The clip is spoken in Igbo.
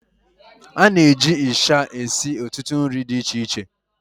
a na-eji ịsha esi ọtụtụ nri di iche iche